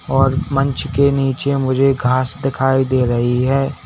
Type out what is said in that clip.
और मंच के नीचे मुझे घास दिखाई दे रही है।